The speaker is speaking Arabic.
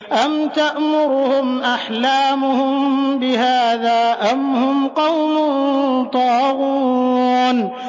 أَمْ تَأْمُرُهُمْ أَحْلَامُهُم بِهَٰذَا ۚ أَمْ هُمْ قَوْمٌ طَاغُونَ